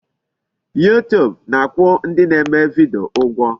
YouTube na-akwụ ndị na-eme video ụgwọ.